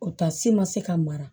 O taasi ma se ka mara